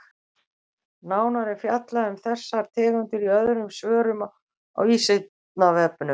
Nánar er fjallað um þessar tegundir í öðrum svörum á Vísindavefnum.